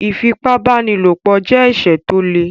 Ífipá-báni-lòpọ̀ jẹ́ ẹ̀ṣẹ̀ tó le